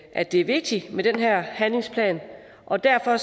at det er vigtigt med den her handlingsplan og derfor